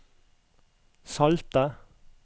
salte